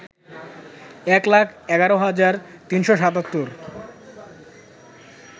এক লাখ ১১ হাজার ৩৭৭